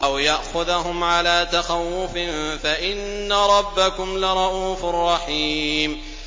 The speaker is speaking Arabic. أَوْ يَأْخُذَهُمْ عَلَىٰ تَخَوُّفٍ فَإِنَّ رَبَّكُمْ لَرَءُوفٌ رَّحِيمٌ